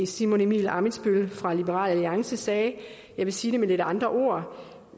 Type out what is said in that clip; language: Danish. simon emil ammitzbøll fra liberal alliance sagde og jeg vil sige det med lidt andre ord